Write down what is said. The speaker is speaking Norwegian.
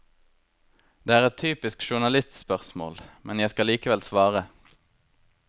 Det er et typisk journalistspørsmål, men jeg skal likevel svare.